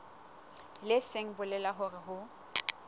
leng se bolelang hore ho